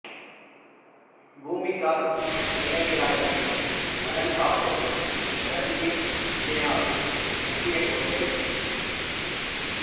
பூமிகார் நிலக்கிழார்களின் நலன் காப்பது ரன்வீர் சேனாவின் முக்கிய கொள்கை